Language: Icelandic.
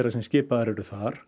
sem skipaður er þar